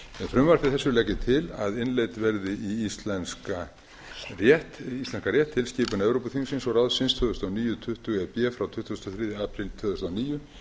frumvarpi þessu legg ég til að innleidd verði í íslenskan rétt tilskipun evrópuþingsins og ráðsins tvö þúsund og níu tuttugu e b frá tuttugasta og þriðja apríl tvö þúsund og níu